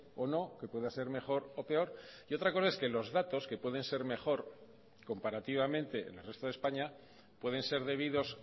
o no que pueda ser mejor o peor y otra cosa es que los datos que pueden ser mejor comparativamente en el resto de españa pueden ser debidos